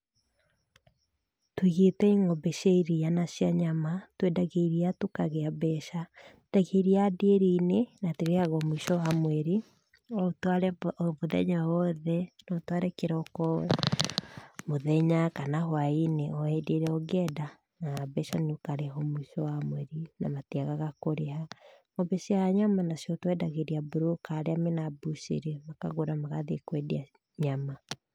Tũigĩte ng'ombe cia iria na cia nyama, twendagia iria tũkagĩa mbeca tehe rĩa ndĩri-inĩ na tũrĩhagwo mũico wa mweri no ũtware o mũthenya o wothe, no ũtware kĩroko, mũthenya kana hwainĩ o hĩndĩ ĩrĩa ũngĩenda na mbeca nĩ ũkarĩhwo mũico wa mweri na matiagaga kũrĩha. Ng'ombe cia nyama nacio twendagĩria mburũka arĩa mena mbucĩri makagũra magathiĩ kwendia nyama.